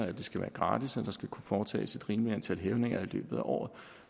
at det skal være gratis og at der skal kunne foretages et rimeligt antal hævninger i løbet af året